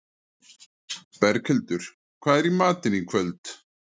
Berghildur, hvað er í matinn í kvöld?